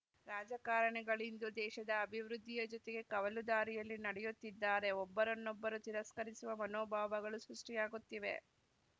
ರಾಜಕಾರಣಿಗಳಿಂದು ದೇಶದ ಅಭಿವೃದ್ಧಿಯ ಜೊತೆಗೆ ಕವಲು ದಾರಿಯಲ್ಲಿ ನಡೆಯುತ್ತಿದ್ದಾರೆ ಒಬ್ಬರನ್ನೊಬ್ಬರು ತಿರಸ್ಕರಿಸುವ ಮನೋಭಾವಗಳು ಸೃಷ್ಟಿಯಾಗುತ್ತಿವೆ